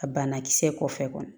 A banakisɛ kɔfɛ